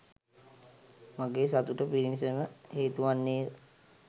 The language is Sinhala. මාගේ සතුට පිණිසම හේතු වන්නේ ය.